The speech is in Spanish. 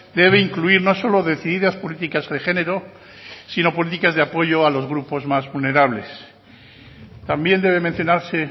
debe incluir no solo decididas políticas de género sino políticas de apoyo a los grupos más vulnerables también debe mencionarse